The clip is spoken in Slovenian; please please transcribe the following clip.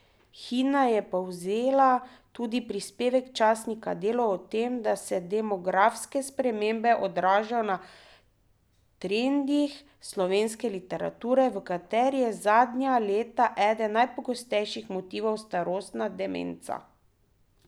Hina je povzela tudi prispevek časnika Delo o tem, da se demografske spremembe odražajo na trendih slovenske literature, v kateri je zadnja leta eden najpogostejših motivov starostna demenca.